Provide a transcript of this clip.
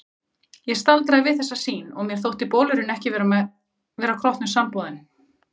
Ég staldraði við þessa sýn og mér þótti bolurinn ekki vera kroppnum samboðinn.